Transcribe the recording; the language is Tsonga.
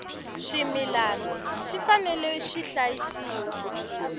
swimilana swi fanele swi hlayisiwa